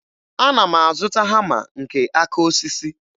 Ana m azụta hama nke aka osisi